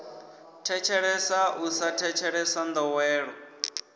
thetshelesa u sa thetshelesa ndowelo